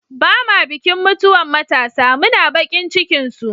Ba'ma bikin mutuwan matasa, muna bakin cikin su.